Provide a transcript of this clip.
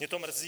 Mě to mrzí.